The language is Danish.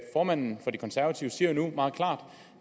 formanden for de konservative siger jo meget klart